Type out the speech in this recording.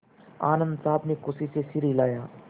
आनन्द साहब ने खुशी से सिर हिलाया